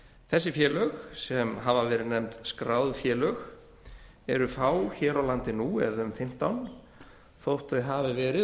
þessi félög sem hafa verið nefnd skráð félög eru fá hér á landi nú eða um fimmtán þótt þau hafi verið